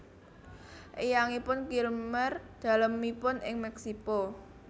Eyangipun Kilmer dalemipun ing Meksiko